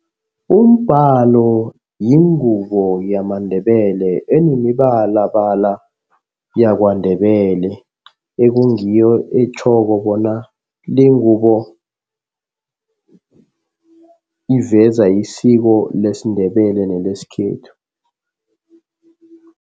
Umbhalo yingubo yamaNdebele enemibalabala yakwaNdebele. Ekungiyo etjhoko bona le ngubo, iveza isiko lesiNdebele nelesikhethu.